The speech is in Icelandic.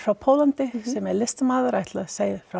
Póllandi sem er listamaður ætlar að segja frá